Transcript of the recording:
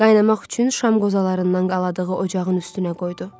Qaynamaq üçün şam qozalarından qaladığı ocağın üstünə qoydu.